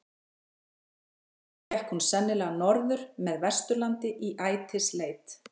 eftir hrygningu gekk hún sennilega norður með vesturlandi í ætisleit